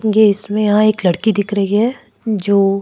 ये इसमें यहां एक लड़की दिख रही है जो।